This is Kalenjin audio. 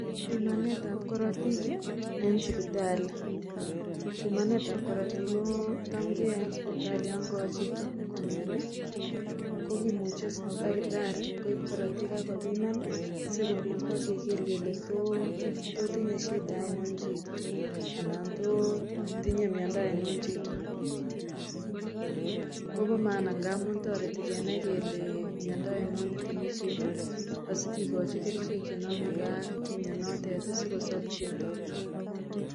pimanet ab korotik ih en sipitali, pimanetab korotik jh kotam keyoe en sipitali yan kowo chito komioni kokimuche takitari koib korotik akopiman sikobit bo keker kole tos tinye shida oinon chito anan to tinye miondo oinon chito kobo maana amun toreti kenai kele miondo oinon netinye chito asikikochi kerichek chenomegee ak mionotet sikosob chito